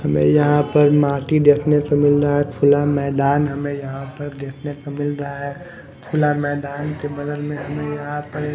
हमें यहां पर माटी देखने को मिल रहा है खुला मैदान हमें यहां पर देखने को मिल रहा है खुला मैदान के बदल में हमें यहां पर--